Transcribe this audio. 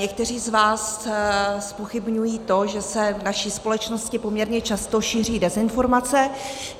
Někteří z vás zpochybňují to, že se v naší společnosti poměrně často šíří dezinformace.